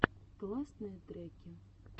классные треки